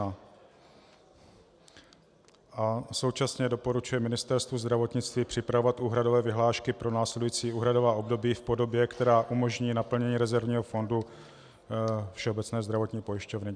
A současně doporučuje Ministerstvu zdravotnictví připravovat úhradové vyhlášky pro následující úhradová období v podobě, která umožní naplnění rezervního fondu Všeobecné zdravotní pojišťovny.